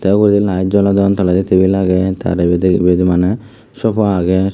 te uguredi layet jolodon toledi tebil agey tar poredi maney sopa agey.